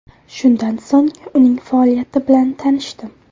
Shundan so‘ng uning faoliyati bilan tanishdim.